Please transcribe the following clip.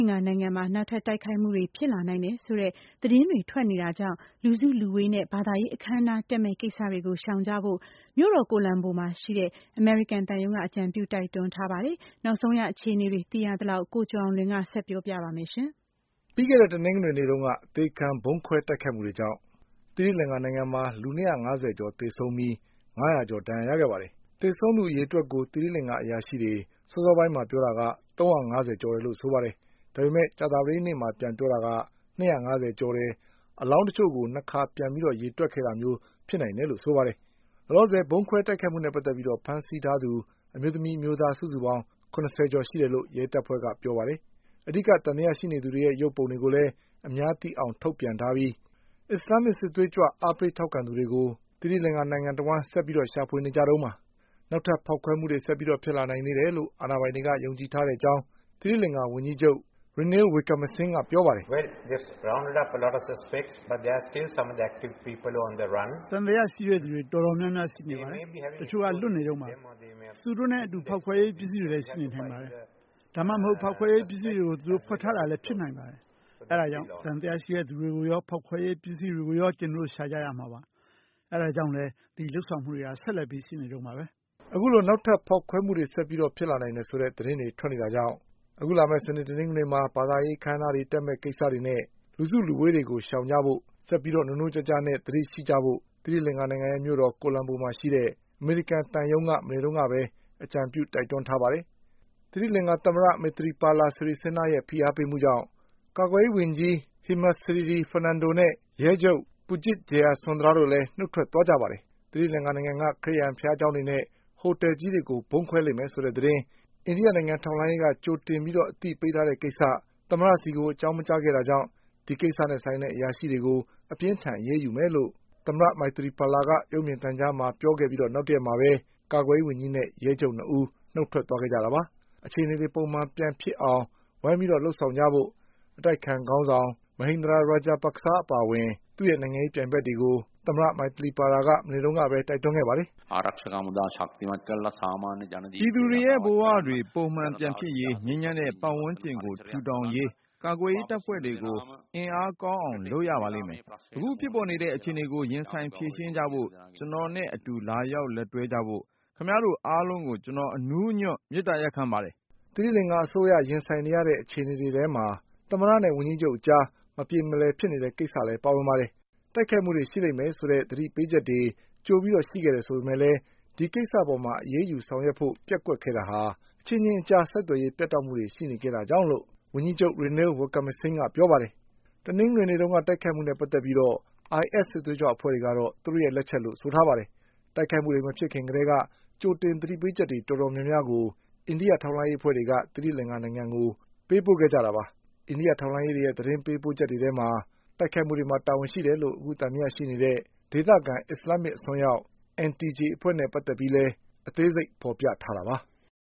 င်္ကာနိုင်ငံမှာ နောက်ထပ်တိုက်ခိုက်မှုတွေဖြစ်လာနိုင်တယ်ဆိုတဲ့ သတင်းတွေ ထွက်နေတာကြောင့် လူစုလူဝေးတွေ နဲ့ ဘာသာရေးအခမ်းအနားတက်မယ့်ကိစ္စတွေကို ရှောင်ကြဖို့ မြို့တော် ကိုလံဘိုမှာရှိတဲ့ အမေရိကန်သံရုံးက အကြံပြု တိုက်တွန်းထားပါတယ်။ တိုက်ခိုက်မယ့် သူတွေ လွတ်နေသေးတယ်လို့လည်း သီရိလင်္ကာဝန်ကြီးချုပ်ကပြောပါတယ်။ နောက်ဆုံး အခြေအနေတွေ သိထားသလောက် ကိုကျော်အောင်လွင် ဆက်ပြောပါလိမ့်မယ်။ ပြီးခဲ့တဲ့ တနင်္ဂနွေနေ့တုန်းက အသေခံဗုံးခွဲတိုက်ခိုက်မှုတွေကြောင့် သီရိလင်္ကာနိုင်ငံမှာ လူ၂၅၀ကျော် သေဆုံးပြီး ငါးရာ ကျော်ဒဏ်ရာရခဲ့ပါတယ်။ သေဆုံးသူ အရေအတွက်ကို သီရိလင်္ကာအရာရှိတွေ စောစောပိုင်း ကပြောတာက ၃၅၀ကျော် တယ်လို့ဆိုပါတယ်။ ဒါပေမဲ့ ကြာသပတေးနေ့မှာ ပြန်ပြောတာက ၂၅၀ကျော်တယ်၊ အလောင်းတချို့ကို ၂ ခါ ပြန်ရေတွက်ခဲ့ တာမျိုး ဖြစ်နိုင်တယ် လို့ဆိုပါတယ်။ လောလောဆယ် ဗုံးခွဲတိုက်ခိုက်မှုနဲ့ ပတ်သက်ပြီးဖမ်းဆီးထားသူ အမျိုးသမီး၊ အမျိုးသား စုစုပေါင်း ၇၀ကျော်ရှိတယ်လို့ ရဲတပ်ဖွဲ့ကပြောပါတယ်။ အဓိက သံသယရှိသူတွေရဲ့ ရုပ်ပုံတွေကိုလည်း အများသိအောင် ထုတ်ပြန်ထားပြီး အစ္စလာမ်မစ်စစ်သွေးကြွတွေကို အားပေးထောက်ခံသူတွေကို နိုင်ငံတဝှမ်း ဆက်ပြီးရှာဖွေနေကြတုန်းပါ။ နောက်ထပ်ဖေါက်ခွဲမှုတွေ ဆက်ဖြစ်လာနိုင်သေးတယ်လို့ အာဏာပိုင်တွေက ယုံကြည်ထားတဲ့အကြောင်း သီရိလင်္ကာ ဝန် ကြီးချုပ် Ranil Wickremesinghe က ပြောပါတယ်။ “သံသယရှိတဲ့ သူတွေတော်တော် များများရှိပါတယ်။ တချို့ကလွတ်နေတုန်းပါ။ သူတို့နဲ့အတူ ဖေါက်ခွဲရေး ပစ္စည်းတွေလည်း ရှိနေနိုင်ပါတယ်။ ဒါမှမဟုတ် ဖေါက်ခွဲရေးပစ္စည်းတွေကို သူတို့ ဝှက်ထားတာလည်း ဖြစ်နိုင်ပါတယ်။ အဲဒါကြောင့် သံသယရှိ တဲ့သူတွေကိုရော ဖေါက်ခွဲရေး ပစ္စည်းတွေကိုရော ကျနော်တို့ရှာရမှာပါ။ အဲဒါကြောင့် ဒီလုပ်ဆောင်မှုတွေက ဆက်ပြီးရှိနေတုန်းပါပဲ။” အခုလို နောက်ထပ်ဖေါက်ခွဲမှုတွေ ဆက်ဖြစ်လာနိုင်တယ်ဆိုတဲ့ သတင်းတွေ ထွက်နေတာကြောင့် အခုလာမယ့် စနေ၊ တနင်္ဂနွေမှာ ဘာသာရေးအခမ်းအနားတွေတက်မယ့်ကိစ္စနဲ့ လူစုလူဝေးတွေကို ရှောင်ကြဖို့ ၊ ဆက်ပြီးနိုးနိုးကြားကြားနဲ့ သတိရှိ ကြဖို့ သီရိလင်္ကာရဲ့မြို့တော် ကိုလံဘိုမှာ ရှိတဲ့ အမေရိကန်သံရုံးက မနေ့ကပဲ အကြံပြုတိုက်တွန်းထားပါတယ်။ သီရိလင်္ကာ သမ္မတ Maithripala Sirisena ရဲ့ဖိအားပေးမှုကြောင့် ကာကွယ်ရေးဝန်ကြီး Hemasriri Fernando နဲ့ ရဲချုပ် Pujith Jayasundara လည်း နုတ်ထွက်သွားကြပါတယ်။ သီရိလင်္ကာနိုင်ငံက ခရစ်ယာန်ဘုရားကျောင်းတွေနဲ့ ဟိုတလ်ကြီးတွေကို ဗုံးခွဲလိမ့်မယ်ဆိုတဲ့သတင်း အိန္ဒိယ နိုင်ငံ ထောက်လှမ်းရေးက ကြိုပြီးအသိပေးထားတဲ့ကိစ္စ သမ္မတဆီကို အကြောင်းမကြားခဲ့တာ ကြောင့် ဒီကိစ္စနဲ့ ဆိုင်တဲ့အရာရှိတွေကို အပြင်းအထန်အရေးယူမယ်လို့ သမ္မတ Maithripala က ရုပ်မြင်သံကြားမှာ ပြောခဲ့ ပြီး နောက်တရက်မှာပဲ ကာကွယ်ရေးဝန်ကြီးနဲ့ ရဲချုပ်၂ဦး နုတ်ထွက် ခဲ့ကြတာပါ။ အခြေအနေတေ ွပုံမှန်ပြန်ဖြစ်အောင် ဝိုင်းပြီး လုပ်ဆောင်ကြဖို့ အတိုက်အခံခေါင်းဆောင် Mahinda Rajapaksa အပါအဝင် သူ့ရဲ့ နိုင်ငံရေးပြိုင်ဘက်တွေကို သမ္မတ Maithripala မနေ့က တိုက်တွန်းခဲ့ပါတယ်။ “ပြည်သူတွေရဲ့ဘဝတွေပုံမှန်ပြန်ဖြစ်ရေး ငြိမ်းချမ်းတဲ့ ပတ်ဝန်းကျင်ကိုထူထောင်ရေး ကာကွယ်ရေး တပ်ဖွဲ့တွေကို အင်အား ကောင်းအောင်လုပ်ရပါလိမ့်မယ်။ အခုဖြစ်ပေါ်နေတဲ့ အခြေအနေကို ရင်ဆိုင်ဖြေရှင်းကြဖို့ ကျနော်နဲ့ အတူလာရောက် လက်တွဲကြဖို့ ခင်ဗျားတို့အားလုံးကို ကျနော် အနူးအညွတ်မေတ္တာရပ်ခံပါတယ်” သီရိလင်္ကာအစိုးရ ရင်ဆိုင်နေရတဲ့အခြေအနေတွေထဲမှာ သမ္မတနဲ့ဝန်ကြီးချုပ်အကြား မပြေမလည်ဖြစ်နေတဲ့ ကိစ္စလည်းပါ ဝင်ပါတယ်။ တိုက်ခိုက်မှုတွေရှိလိမ့်မယ် ဆိုတဲ့သတိပေးချက်တွေ ကြိုပြီးရှိခဲ့တယ်ဆိုပေမဲ့ ဒီကိစ္စအပေါ်အရေးယူဆောင်ရွက် ဖို့ပျက်ကွက်ခဲ့တာဟာ အချင်းချင်း ဆက်သွယ်ရေး ပြတ်တောက်မှုတွေရှိခဲ့တာကြောင့်လို့ ဝန်ကြီးချုပ် Ranil Wickremesinghe က ပြောပါတယ်။ တနင်္ဂနွေနေ့ကတိုက်ခိုက်မှုတွေနဲ့ပတ်သက်ပြီး IS စစ်သွေးကြွအဖွဲ့ကတော့ သူတို့ရဲ့ လက်ချက်လို့ ပြောထားပါတယ်။ တိုက်ခိုက်မှုတွေမဖြစ်ခင်ကတည်းက ကြိုတင် သတိပေးချက်တွေ တော်တော်များများ အိန္ဒိယထောက်လှမ်းရေးအဖွဲ့တွေက သီရိလင်္ကာနိုင်ငံကို ပို့ခဲ့ကြတာပါ။ အိန္ဒိယထောက်လှမ်းရေးရဲ့ သတင်းပို့ချက်တွေ ထဲမှာ တိုက်ခိုက်မှုမှာ တာဝန်ရှိတယ်လို့ သံသယရှိနေတဲ့ ဒေသခံ အစ္စလာမ်မစ်အစွန်းရောက် NTJ အဖွဲ့နဲ့ပတ်သက်ပြီး အသေးစိတ် ဖေါ်ပြထားတာပါ။